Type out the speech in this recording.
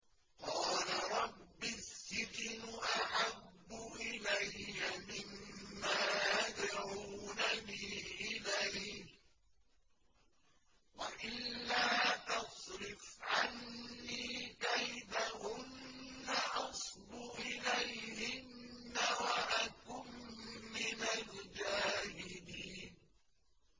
قَالَ رَبِّ السِّجْنُ أَحَبُّ إِلَيَّ مِمَّا يَدْعُونَنِي إِلَيْهِ ۖ وَإِلَّا تَصْرِفْ عَنِّي كَيْدَهُنَّ أَصْبُ إِلَيْهِنَّ وَأَكُن مِّنَ الْجَاهِلِينَ